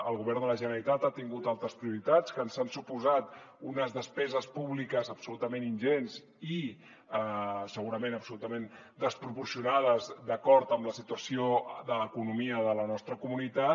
el govern de la generalitat ha tingut altres prioritats que ens han suposat unes despeses públiques absolutament ingents i segurament absolutament desproporcionades d’acord amb la situació de l’economia de la nostra comunitat